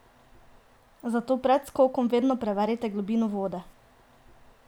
Zato pred skokom vedno preverite globino vode!